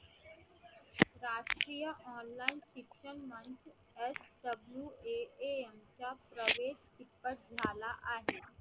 राष्ट्रीय online शिक्षणमंच SWAAM च्या प्रवेश तिप्पट झाला आहे.